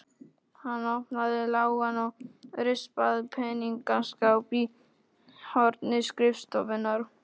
Hann opnaði lágan og rispaðan peningaskáp í horni skrifstofunnar.